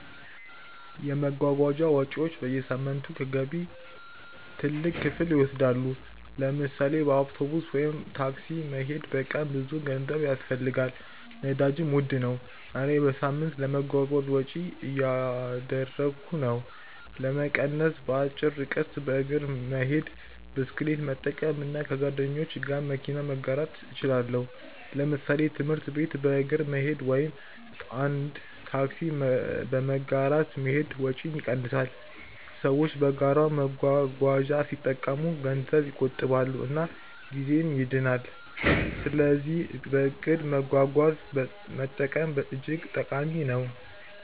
የመጓጓዣ ወጪዎች በየሳምንቱ ከገቢ ትልቅ ክፍል ይወስዳሉ። ለምሳሌ በአውቶቡስ ወይም ታክሲ መሄድ በቀን ብዙ ገንዘብ ያስፈልጋል፣ ነዳጅም ውድ ነው። እኔ በሳምንት ለመጓጓዣ ወጪ እያደረግሁ ነው። ለመቀነስ በአጭር ርቀት በእግር መሄድ፣ ብስክሌት መጠቀም እና ከጓደኞች ጋር መኪና መጋራት እችላለሁ። ለምሳሌ ትምህርት ቤት በእግር መሄድ ወይም አንድ ታክሲ በመጋራት መሄድ ወጪን ይቀንሳል። ሰዎች በጋራ መጓጓዣ ሲጠቀሙ ገንዘብ ይቆጥባሉ እና ጊዜም ይድናል። ስለዚህ በእቅድ መጓጓዣ መጠቀም እጅግ ጠቃሚ ነው።